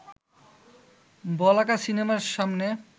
বলাকা সিনেমার সামনে